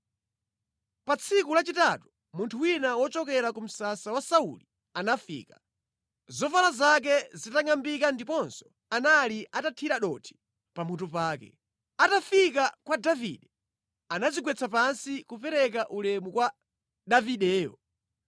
Pa tsiku lachitatu munthu wina wochokera ku msasa wa Sauli anafika, zovala zake zitangʼambika ndiponso anali atathira dothi pamutu pake. Atafika kwa Davide, anadzigwetsa pansi, kupereka ulemu kwa Davideyo.